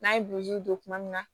N'a ye don tuma min na